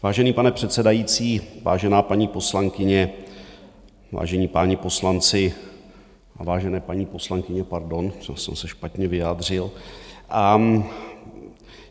Vážený pane předsedající, vážená paní poslankyně, vážení páni poslanci a vážené paní poslankyně, pardon, to jsem se špatně vyjádřil.